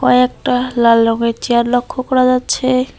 কয়েকটা লাল রঙের চেয়ার লক্ষ্য করা যাচ্ছে।